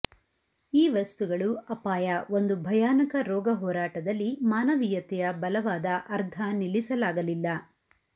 ಈ ವಸ್ತುಗಳು ಅಪಾಯ ಒಂದು ಭಯಾನಕ ರೋಗ ಹೋರಾಟದಲ್ಲಿ ಮಾನವೀಯತೆಯ ಬಲವಾದ ಅರ್ಧ ನಿಲ್ಲಿಸಲಾಗಲಿಲ್ಲ